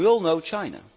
We all know China.